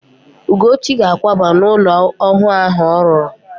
Ugochi ga-àkwába n'ụlọ ọhụụ ahụ ọ rụrụ.